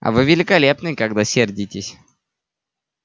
а вы великолепны когда сердитесь